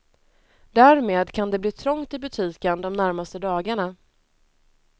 Därmed kan det bli trångt i butiken de närmaste dagarna.